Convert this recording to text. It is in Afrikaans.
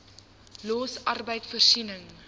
los arbeid voorsiening